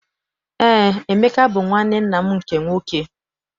Eé, Emeka bụ nwanne nna m nke nwoke.